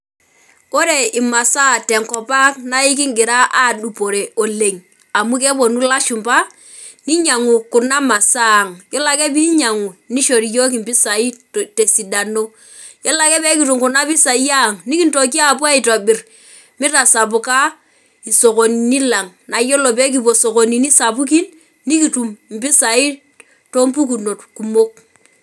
Ore imasaa tenkop ang naa inkingira adupore oleng amu keponu ilashumba ninyiangu kuna masaa ang yiolo ake pinyiangu nishori yiok impisai tesiadano, yiolo ake pekitum kuna pisai ang nikintoki apuo aitobir mitasapuk isoskonini lang naa yiolo peekipuo isokonini sapukin nikitum impisai toompukunot kumok.